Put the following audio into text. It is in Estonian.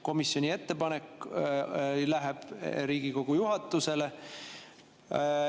Komisjoni ettepanek läheb Riigikogu juhatusele.